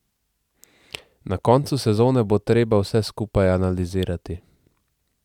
Na koncu sezone bo treba vse skupaj analizirati.